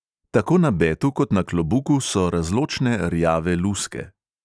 Tako na betu kot na klobuku so razločne rjave luske.